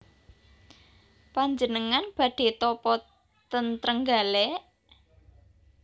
Panjenengan badhe tapa ten Trenggalek?